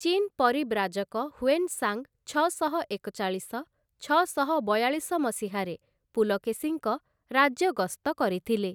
ଚୀନ ପରିବ୍ରାଜକ ହ୍ଵେନ୍‌ସାଂ ଛଅଶହ ଏକଚାଳିଶ ଛଅଶହ ବୟାଳିଶ ମସିହାରେ ପୁଲକେଶୀଙ୍କ ରାଜ୍ୟ ଗସ୍ତ କରିଥିଲେ ।